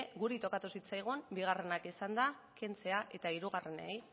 guri tokatu zitzaigun bigarrenak izanda kentzea eta hirugarrenei